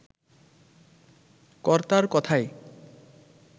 কর্তার কথায়